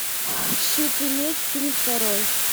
щит и меч фильм второй